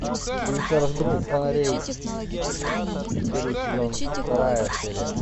улица разбитых фонарей первый сезон вторая серия